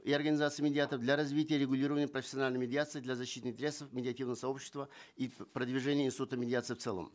и организации медиаторов для развития регулирования профессиональной медиации для защиты интересов медиативного сообщества и продвижения института медиации в целом